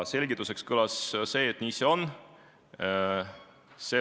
Selgituseks kõlas, et nii see on.